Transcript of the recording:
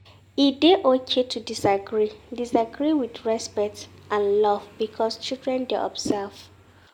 E dey okay to disagree, disagree with respect and love because childen dey observe